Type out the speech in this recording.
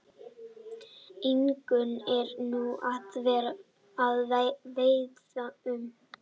Ingunn er nú að veiðum.